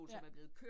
Ja